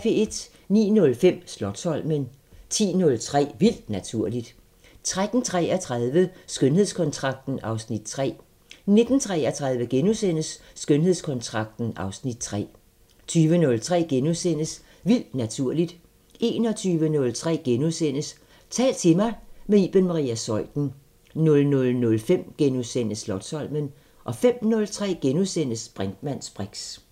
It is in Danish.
09:05: Slotsholmen 10:03: Vildt Naturligt 13:33: Skønhedskontrakten (Afs. 3) 19:33: Skønhedskontrakten (Afs. 3)* 20:03: Vildt Naturligt * 21:03: Tal til mig – med Iben Maria Zeuthen * 00:05: Slotsholmen * 05:03: Brinkmanns briks *